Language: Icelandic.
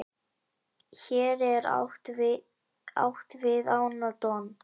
hér er átt við ána don